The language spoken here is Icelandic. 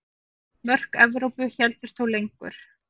Mörk Evrópu héldust þó lengur.